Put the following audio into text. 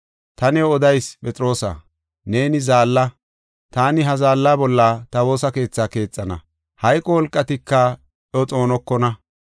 Ta new odayis Phexroosa, neeni zaalla! Taani ha zaalla bolla ta woosa keethaa keexana. Hayqo wolqatika iyo xoonokona.